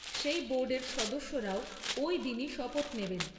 সেই বোর্ডের সদস্যরাও ওই দিনই শপথ নেবেন।